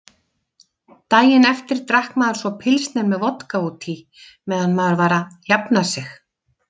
Daginn eftir drakk maður svo pilsner með vodka útí meðan maður var að jafna sig.